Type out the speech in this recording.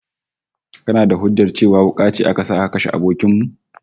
Kana da hujjar cewa wuka ce aka sa aka kashe abokin mu?